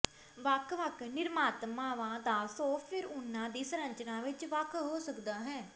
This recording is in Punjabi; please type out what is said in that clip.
ਵੱਖ ਵੱਖ ਨਿਰਮਾਤਾਵਾਂ ਦਾ ਸੌਫਟਵੇਅਰ ਉਹਨਾਂ ਦੀ ਸੰਰਚਨਾ ਵਿਚ ਵੱਖ ਹੋ ਸਕਦਾ ਹੈ